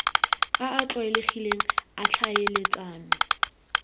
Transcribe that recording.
a a tlwaelegileng a tlhaeletsano